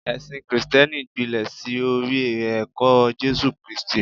ẹsìn Kristẹni gbilẹ sí orí ẹkọ Jésù kristi